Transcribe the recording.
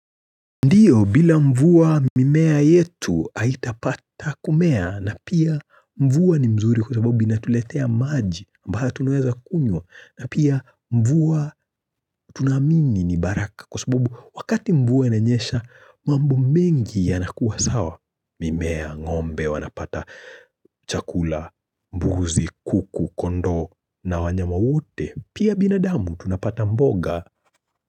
Ndio bila mvua mimea yetu haitapata kumea na pia mvua ni mzuri kwa sababu inatuletea maji ambayo tunaweza kunywa na pia mvua tunaamini ni baraka kwa sababu wakati mvua inanyesha mambo mengi yanakuwa sawa mimea ngombe wanapata chakula, mbuzi, kuku, kondoo na wanyama wote pia binadamu tunapata mboga.